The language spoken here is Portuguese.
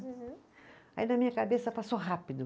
Aham. Aí, na minha cabeça, passou rápido.